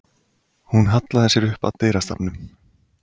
Hún hallaði sér upp að dyrastafnum.